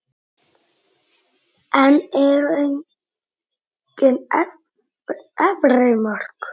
En eru engin efri mörk?